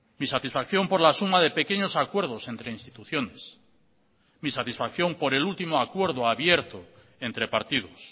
mi satisfacción por la suma de pequeños acuerdos entre instituciones mi satisfacción por el último acuerdo abierto entre partidos